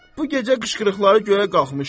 Bu gecə qışqırıqları göyə qalxmışdı.